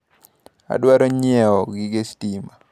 Adwaro nyiewo gige stima.